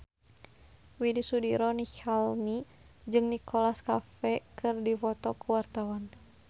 Widy Soediro Nichlany jeung Nicholas Cafe keur dipoto ku wartawan